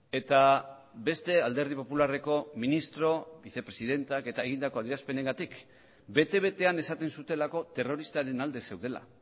eta beste alderdi popularreko ministro bizepresidenteak eta egindako adierazpenengatik bete betean esaten zutelako terroristaren alde zeudela